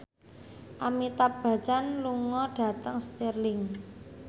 Amitabh Bachchan lunga dhateng Stirling